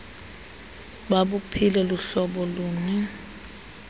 babuphile luhlobo luni